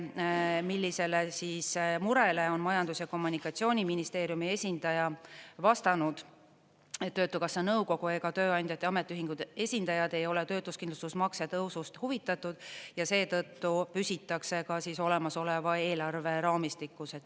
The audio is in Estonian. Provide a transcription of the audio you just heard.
Millisele murele on Majandus- ja Kommunikatsiooniministeeriumi esindaja vastanud, et Töötukassa nõukogu ega tööandjate ja ametiühingute esindajad ei ole töötuskindlustusmakse tõusust huvitatud ja seetõttu püsitakse ka olemasoleva eelarve raamistikus.